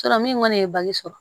min kɔni ye sɔrɔ